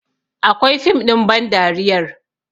Akwai fim ɗin bandariyar